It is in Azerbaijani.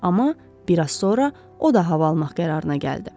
Amma bir az sonra o da hava almaq qərarına gəldi.